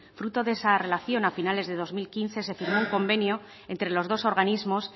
fruto de esa relación a finales de dos mil quince se firmó un convenio entre los dos organismos